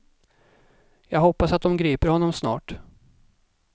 Jag hoppas att de griper honom snart.